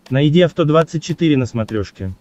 найди авто двадцать четыре на смотрешке